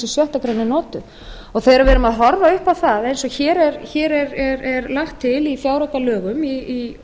er notuð þegar við erum að horfa upp á það eins og hér er lagt til í fjáraukalögum í